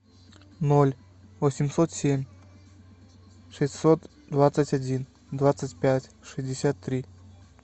ноль восемьсот семь шестьсот двадцать один двадцать пять шестьдесят три